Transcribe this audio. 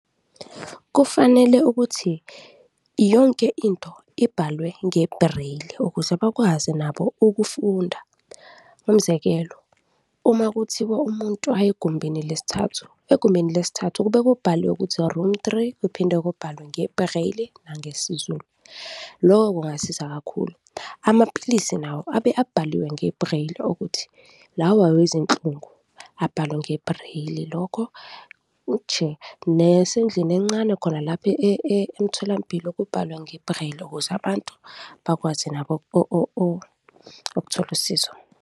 Kufanele ukuthi yonke into ibhalwe nge-braille ukuze bakwazi nabo ukufunda. Umzekelo, uma kuthiwa umuntu aye egumbini lesithathu, egumbini lesithathu kube kubhaliwe ukuthi, room three, kuphinde kubhalwe nge-braille nangesiZulu, lokho kungasiza kakhulu. Amaphilisi nawo abe abhaliwe nge-braille ukuthi lawa awezinhlungu, abhalwe nge-braille lokho nje, nasendlini encane khona lapha emtholampilo kubhalwe nge-braille ukuze abantu bakwazi nabo ukuthola usizo.